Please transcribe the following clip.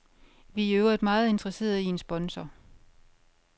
Vi er i øvrigt meget interesseret i en sponsor.